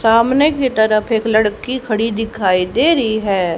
सामने की तरफ एक लड़की खड़ी दिखाई दे रही है।